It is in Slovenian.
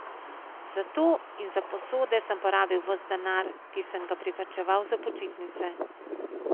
Za to in za posode sem porabil ves denar, ki sem ga privarčeval za počitnice.